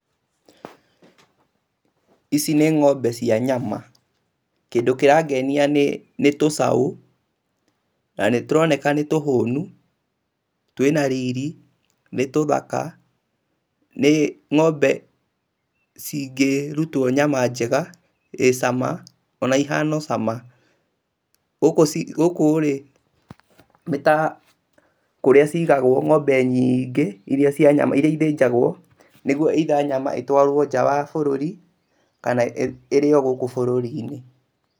Ici nĩ ngombe cia nyama. Kĩndũ kĩrangenia nĩ tũcaũ, na nĩ tũroneka nĩ tũhũnu, twĩna riri , nĩ tũthaka, nĩ ngombe cingĩrutwo nyama njega ĩ cama ona ihana o cama. Gũkũ, gũkũ rĩ nĩta kũrĩa cigagwo ngombe nyingĩ irĩa cia nyama, irĩa ithĩnjagwo nĩgetha either nyama ĩtwarwo nja ya bũrũri kana irĩo gũkũ bũrũri-inĩ.